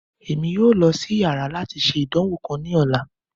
Emi yoo lọ si yàrá lati ṣe idanwo kan ni ọla